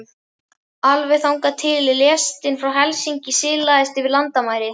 Alveg þangað til lestin frá Helsinki silaðist yfir landamæri